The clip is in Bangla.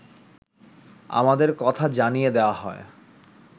আমাদের কথা জানিয়ে দেয়া হয়